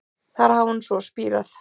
Þar hafi hún svo spírað